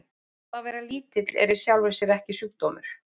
Það að vera lítill er í sjálfu sér ekki sjúkdómur.